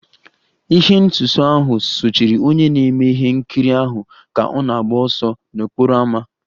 Ihe nsuso ahụ sochiri onye na-eme ihe nkiri ahụ ka ọ na-agba ọsọ n'okporo ámá